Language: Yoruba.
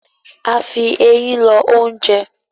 A fí Eyín lọ oúnjẹ